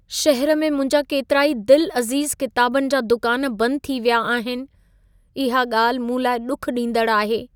शहरु में मुंहिंजा केतिरा ई दिलअज़ीज़ किताबनि जा दुकान बंदु थी विया आहिनि. इहा ॻाल्हि मूं लाइ ॾुख ॾींदड़ु आहे।